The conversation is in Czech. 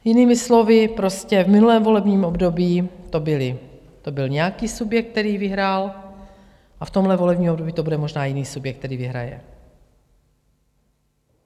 Jinými slovy prostě v minulém volebním období to byl nějaký subjekt, který vyhrál, a v tomhle volebním období to bude možná jiný subjekt, který vyhraje.